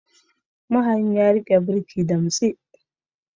Mahayin ya rike birki damtse.